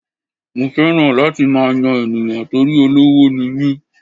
Mo fẹ́ràn láti máa yan ènìyàn torí olówó ni mí.